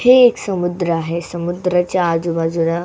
हे एक समुद्र आहे समुद्राच्या आजूबाजूला--